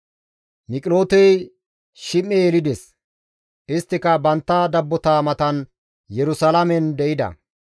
Miqilootey Shime7e yelides; isttika bantta dabbota matan Yerusalaamen de7ida.